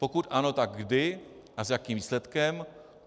Pokud ano, tak kdy a s jakým výsledkem?